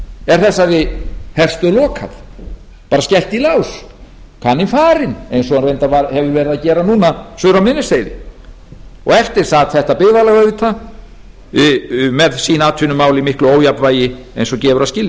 er þessari herstöð lokað bara skellt í lás kaninn farinn eins og hann reyndar hefur verið að gera núna suður á miðnesheiði eftir sat þetta byggðarlag auðvitað með sín atvinnumál í miklu ójafnvægi eins og gefur að skilja